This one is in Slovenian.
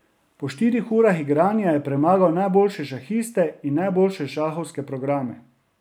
Po štirih urah igranja je premagal najboljše šahiste in najboljše šahovske programe.